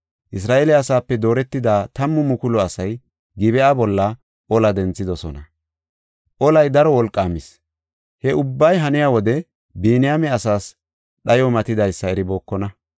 Isra7eele asaape dooretida tammu mukulu asay Gib7a bolla ola denthidosona; olay daro wolqaamis. He ubbay haniya wode Biniyaame asaas dhayoy matidaysa eribookona.